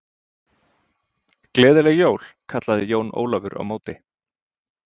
Gleðileg jól kallaði Jón Ólafur á móti.